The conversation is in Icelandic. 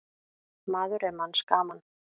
Maður er manns gaman.